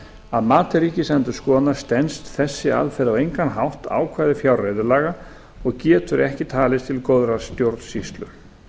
að mati ríkisendurskoðunar stenst þessi aðferð á engan hátt ákvæði fjárreiðulaga og getur ekki talist til góðrar stjórnsýslu